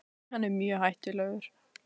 Hann er mjög hættulegur.